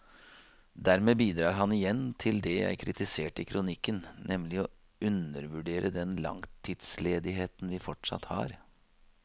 Dermed bidrar han igjen til det jeg kritiserte i kronikken, nemlig å undervurdere den langtidsledigheten vi fortsatt har.